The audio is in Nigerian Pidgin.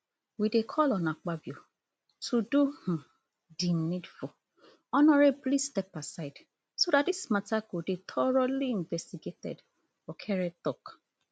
we dey call on akpabio to do um di needful honorably step aside so dat dis matter go dey thoroughly investigated okere tok